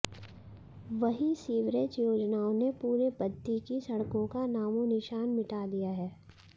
वहीं सीवरेज योजनाओं ने पूरे बद्दी की सड़कों का नामोनिशान मिटा दिया है